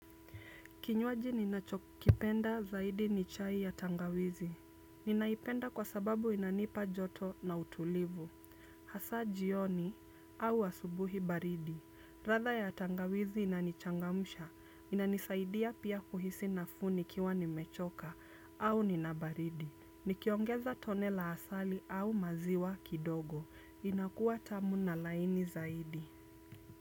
Kinywaji ninachokipenda zaidi ni chai ya tangawizi. Ninaipenda kwa sababu inanipa joto na utulivu. Hasa jioni au asubuhi baridi. Ladha ya tangawizi inanichangamusha. Inanisaidia pia kuhisi nafuu nikiwa ni mechoka au ninabaridi. Nikiongeza tone la asali au maziwa kidogo. Inakuwa tamu na laini zaidi.